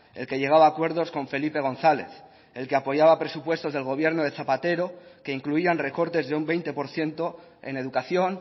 el que llegaba a acuerdos con felipe gonzález el que apoyaba presupuestos del gobierno de zapatero que incluían recortes de un veinte por ciento en educación